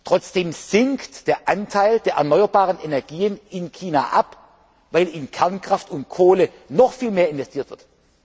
Trotzdem sinkt der Anteil der erneuerbaren Energien in China, weil in Kernkraft und Kohle noch viel mehr investiert